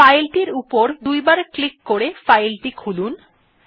file টির উপর দুইবার ক্লিক করে ফাইল টি খোলা যাক